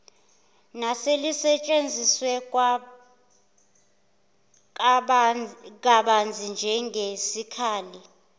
neselisetshenziswe kabanzi njengesikhali